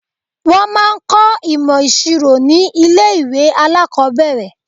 Wọ́n máa ń kọ́ ìmọ̀ ìṣirò ní ilé ìwé alákọ̀ọ́bẹ̀rẹ̀.